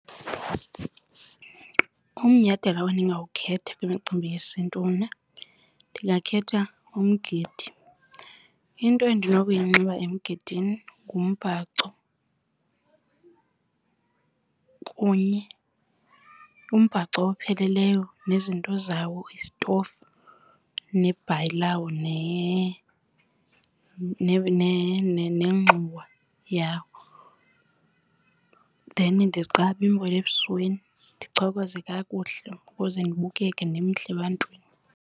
Umnyhadala endingawukhetha kwimicimbi yesiNtu mna ndingakhetha umgidi. Into endinokuyinxiba emgidini ngumbhaco. Umbhaco opheleleyo nezinto zawo, isitofu nebhayi lawo nengxowa yawo. Then ndiqabe imbola ebusweni, ndichokoze kakuhle ukuze ndibukele ndimhle ebantwini.